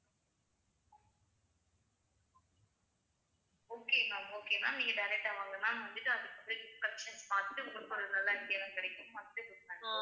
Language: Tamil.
okay ma'am okay ma'am நீங்க direct ஆ வாங்க ma'am வந்துட்டு அதுக்கு perfection பார்த்துட்டு உங்களுக்கு ஒரு நல்ல idea லாம் கிடைக்கும்